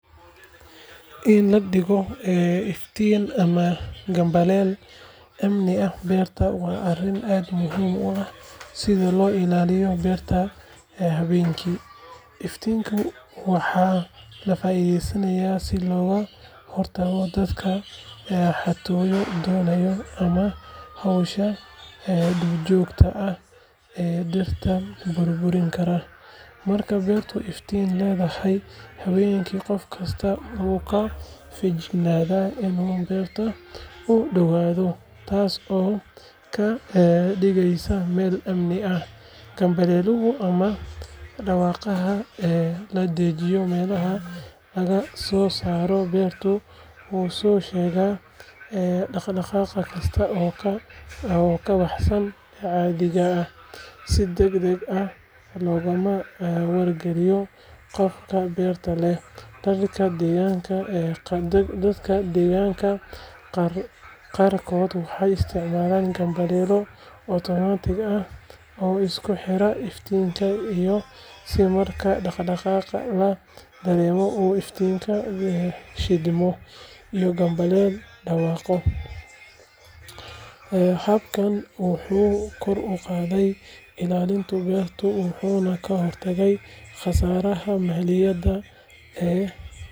In la dhigo iftiin ama gambaleel amni ah beerta waa arrin aad muhiim u ah si loo ilaaliyo beerta habeenkii. Iftiinka waxaa laga faa’iidaystaa si looga hortago dadka xatooyo doonaya ama xoolaha duurjoogta ah ee dhirta burburin kara. Marka beertu iftiin leedahay habeenkii, qof kastaa wuu ka feejignaanayaa inuu beerta u dhowaado, taas oo ka dhigaysa meel ammaan ah. Gambaleelka ama dhawaaqaha la dhejiyo meelaha laga soo galo beerta wuxuu soo sheegaa dhaqdhaqaaq kasta oo ka baxsan caadiga, si deg deg ahna loogu wargaliyo qofka beerta leh. Dadka deegaanka qaarkood waxay isticmaalaan gambaleelo otomaatig ah oo isku xira iftiinka si marka dhaqdhaqaaq la dareemo uu iftiinku shidmo iyo gambaleelku dhawaaqo. Habkan wuxuu kor u qaadaa ilaalinta beerta wuxuuna ka hortagaa khasaaraha maaliyadeed ee.